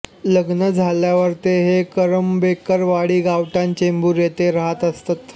लग्न झाल्यावर ते हे करंबेळकर वाडी गावठाण चेंबूर येथे राहत असत